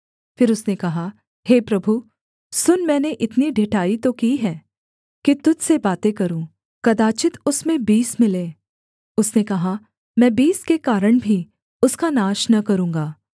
फिर उसने कहा हे प्रभु सुन मैंने इतनी ढिठाई तो की है कि तुझ से बातें करूँ कदाचित् उसमें बीस मिलें उसने कहा मैं बीस के कारण भी उसका नाश न करूँगा